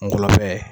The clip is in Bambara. Ngɔlɔbɛ